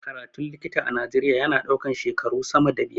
Karatun likita a najeria ya na ɗaukan shekaru sama da biyar